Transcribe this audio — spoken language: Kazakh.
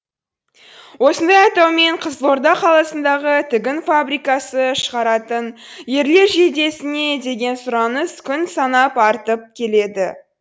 осындай атаумен қызылорда қаласындағы тігін фабрикасы шығаратын ерлер жейдесіне деген сұраныс күн санап артып келеді